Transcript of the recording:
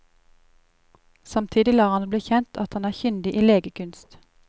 Samtidig lar han det bli kjent at han er kyndig i legekunst.